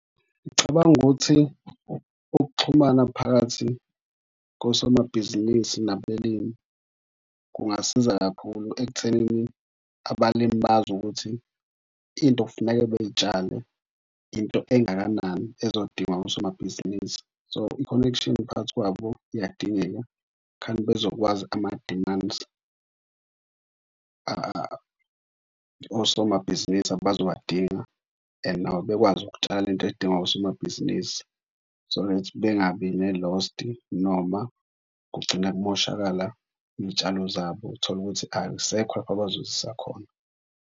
Ngicabanga ukuthi ukuxhumana phakathi kosomabhizinisi nabelimi kungasiza kakhulu ekuthenini nabelimi bazi ukuthi into funeke beyitshale into engakanani ezodingwa osomabhizinisi. So, i-connection phakathi kwabo iyadingeka khani bezokwazi ama-demands osomabhizinisi abazowadinga and nabo bekwazi ukutshala into edingwa osomabhizinisi. So, that bengabi ne-lost noma kugcina kumoshakala iy'tshalo zabo. Tholukuthi akusekho lapho bazozisa khona.